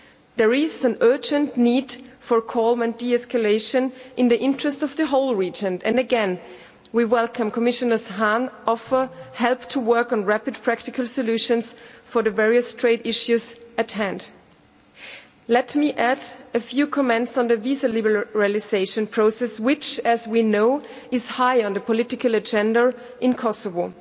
There is an urgent need for calm and de escalation in the interests of the whole region and, again, we welcome Commissioner Hahn's offer of help to work on rapid and practical solutions for the various trade issues at hand. Let me add a few comments on the visa liberalisation process, which as we know is high on the political agenda in Kosovo.